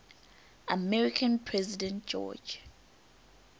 american president george